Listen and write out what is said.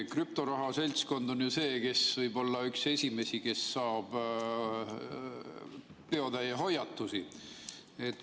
Krüptorahaga tegelev seltskond on ju see, kes võib olla üks esimesi, kes saab peotäie hoiatusi.